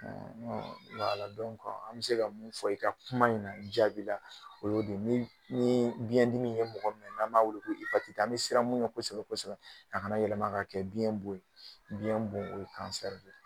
an bɛ se ka mun fɔ i ka kuma in na jaabi la o y'o de ye ni ni biɲɛdimi ye mɔgɔ minɛ n'an b'a wele ko an bɛ siran mun ɲɛ kosɛbɛ kosɛbɛ a kana yɛlɛma kɛ biɲɛ bon ye biɲɛ bon o ye de